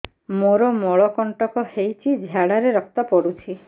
ମୋରୋ ମଳକଣ୍ଟକ ହେଇଚି ଝାଡ଼ାରେ ରକ୍ତ ପଡୁଛି